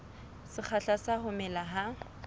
sekgahla sa ho mela ha